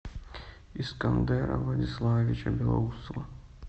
искандера владиславовича белоусова